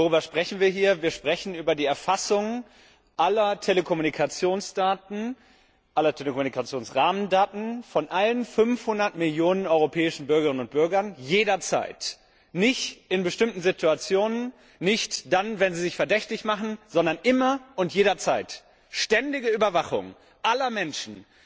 Worüber sprechen wir hier? Wir sprechen über die Erfassung aller Telekommunikationsdaten, aller Telekommunikationsrahmendaten von allen 500 Millionen europäischen Bürgerinnen und Bürgern, jederzeit nicht in bestimmten Situationen, nicht dann, wenn sie sich verdächtig machen, sondern immer und jederzeit! Es handelt sich um die ständige Überwachung aller Menschen!